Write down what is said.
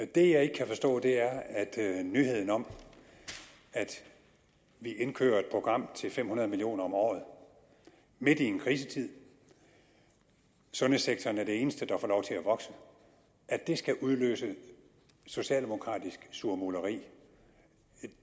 det jeg ikke kan forstå er at at nyheden om at vi indkører et program til fem hundrede million kroner om året midt i en krisetid sundhedssektoren er det eneste der får lov til at vokse skal udløse socialdemokratisk surmuleri